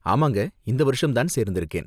ஆமாங்க, இந்த வருஷம்தான் சேர்ந்திருக்கேன்.